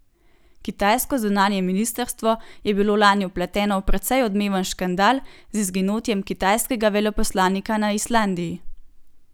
Kitajsko zunanje ministrstvo je bilo lani vpleteno v precej odmeven škandal z izginotjem kitajskega veleposlanika na Islandiji.